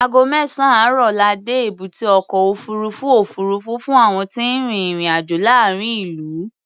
Ago mẹ́sàn-án àárọ̀ la dé èbúté ọkọ̀ òfuurufú òfuurufú fún àwọn tí ń rin ìrìn-àjọ̀ láàárín ìlú.